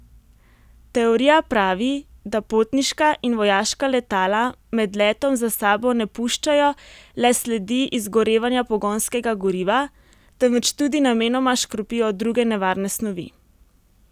Teorija pravi, da potniška in vojaška letala med letom za sabo ne puščajo le sledi izgorevanja pogonskega goriva, temveč tudi namenoma škropijo druge nevarne snovi.